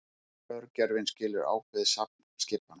Örgjörvinn skilur ákveðið safn skipana.